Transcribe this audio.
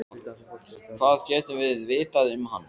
Hvað getum við vitað um hann?